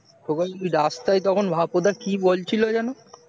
তোমাকে রাস্তায় তখন ভাকু দা কি বলছিল যেন